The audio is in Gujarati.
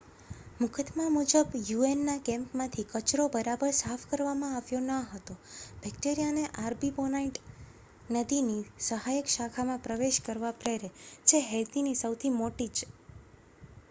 મુકદ્દમા મુજબ યુ.એન.ના કેમ્પમાંથી કચરો બરાબર સાફ કરવામાં આવ્યો ન હતો, બેક્ટેરિયાને આર્ટીબોનાઇટ નદીની સહાયક શાખામાં પ્રવેશ કરવા પ્રેરે, જે હૈતીની સૌથી મોટી એક